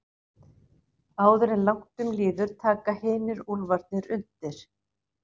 Áður en langt um líður taka hinir úlfarnir undir.